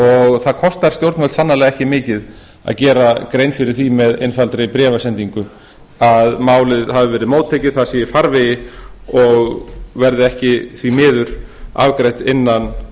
og það kostar stjórnvöld sannarlega ekki mikið að gera grein fyrir því með einfaldri bréfasendingu að málið hafi verið móttekið það sé í farvegi og verði ekki því miður afgreitt innan